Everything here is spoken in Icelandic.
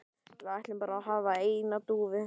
Við ætlum bara að hafa eina dúfu